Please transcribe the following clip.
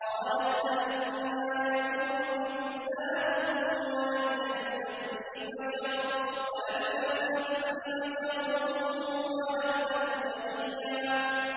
قَالَتْ أَنَّىٰ يَكُونُ لِي غُلَامٌ وَلَمْ يَمْسَسْنِي بَشَرٌ وَلَمْ أَكُ بَغِيًّا